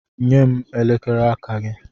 Nye m elekere aka gị.